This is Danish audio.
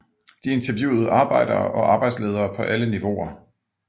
De interviewede arbejdere og arbejdsledere på alle niveauer